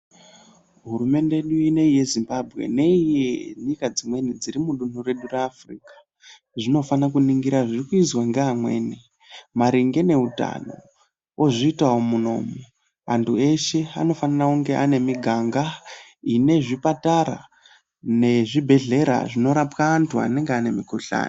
Hurumende yedu ineyi yeZimbabwe neyenyika dzimweni mudunhu redu reAfrica dzinofanira kuningira zvirikuizwa neamweni maringe neutano ozviitavo muno antu eshe anofanira kunge ane miganga inorapwa antu nezvibhehleya zvinorapa antu anenge aine mukuhlani.